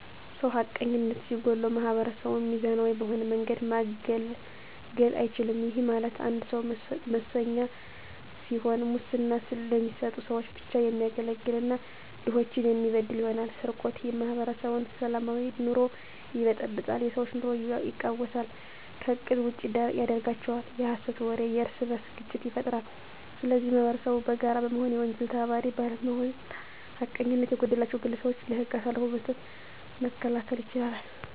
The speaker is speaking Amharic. ሰው ሀቀኝነት ሲጎለዉ ማህበረሰቡን ሚዛናዊ በሆነ መንገድ ማገልገል አይችልም ይህም ማለት አንድ ሰዉ መሰኛ ሲሆን ሙስና ለሚሰጡ ሰዎች ብቻ የሚያገለግል እና ድሆችን የሚበድል ይሆናል። _ስርቆት የማህበረሰቡን ሰላማዊ ኑሮ ይበጠብጣል የሰዎች ኑሮ የቃዉሳል ከእቅድ ውጭ ያደርጋቸዋል። _የሀሰት ወሬ የእርስበርስ ግጭት ይፈጥራል ስለዚህ ማህበረሰቡ በጋራ በመሆን የወንጀል ተባባሪ ባለመሆንና ሀቀኝነት የጎደላቸዉን ግለሰቦች ለህግ አሳልፎ በመስጠት መከላከል ይቻላል።